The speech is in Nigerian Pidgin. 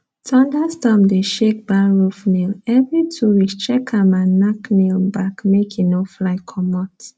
thunderstorm dey shake barn roof nailevery two weeks check am and nack nail back make e no fly comot